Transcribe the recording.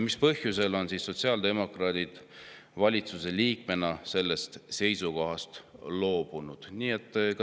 Mis põhjustel on sotsiaaldemokraadid valitsuse liikmena sellest seisukohast loobunud?